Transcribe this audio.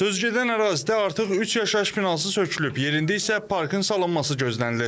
Sözügedən ərazidə artıq üç yaşayış binası sökülüb, yerində isə parkın salınması gözlənilir.